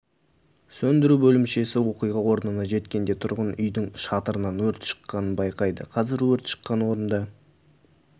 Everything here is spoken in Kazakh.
сөндіру бөлімшесі оқиға орнына жеткенде тұрғын үйдің шатырынан өрт шыққанын байқайды қазір өрт шыққан орында